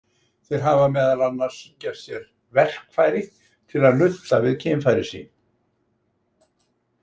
Þeir hafa meðal annars gert sér „verkfæri“ til að nudda við kynfæri sín.